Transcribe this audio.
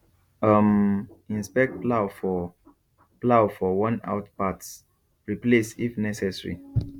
um inspect plough for plough for wornout parts replace if necessary